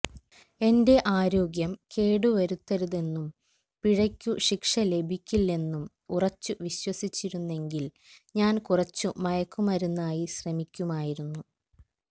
എന്റെ ആരോഗ്യം കേടുവരുത്തരുതെന്നും പിഴയ്ക്കു ശിക്ഷ ലഭിക്കില്ലെന്നും ഉറച്ചു വിശ്വസിച്ചിരുന്നെങ്കിൽ ഞാൻ കുറച്ചു മയക്കുമരുന്നായി ശ്രമിക്കുമായിരുന്നു